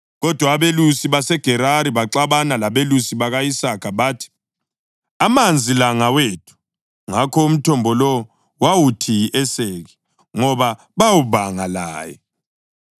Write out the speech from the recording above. Kodwa abelusi baseGerari baxabana labelusi baka-Isaka bathi, “Amanzi la ngawethu!” Ngakho umthombo lowo wawuthi yi-Eseki, ngoba bawubanga laye.